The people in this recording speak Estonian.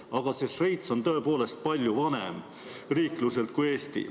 Aga Šveits on riikluselt tõepoolest palju vanem kui Eesti.